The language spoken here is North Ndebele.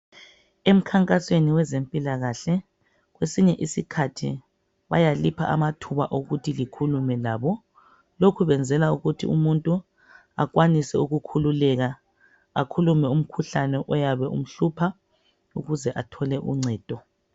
emkhankasweni ezempilakahle kwesinye isikhathi bayalipha amathuba wokuthi likhulume labo loku kuyenzelwa ukuthi umuntu akwanise ukukhululeke akhulume umkhuhlane oyabe umhlupha ukuze athole uncedo.